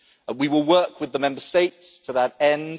We will work with the Member States to that end.